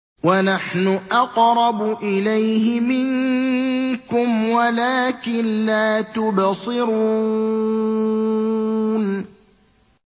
وَنَحْنُ أَقْرَبُ إِلَيْهِ مِنكُمْ وَلَٰكِن لَّا تُبْصِرُونَ